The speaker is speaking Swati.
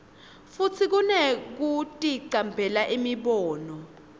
futsi kunekuticambela imibono